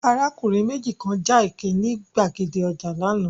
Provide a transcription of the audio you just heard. Arákùnrin méjì kan ja ẹkẹ ní gbàgede ọjà lánàá.